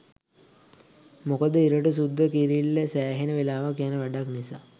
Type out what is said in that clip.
මොකද ඉරටු සුද්ද කිරිල්ල සෑහෙන වෙලාවක් යන වැඩක් නිසා.